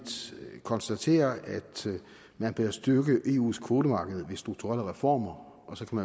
konstaterer at man bør styrke eus kvotemarked ved strukturelle reformer og så kan